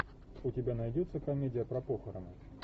у тебя найдется комедия про похороны